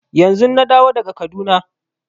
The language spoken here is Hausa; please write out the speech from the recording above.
Yanzun na dawo daga Kaduna.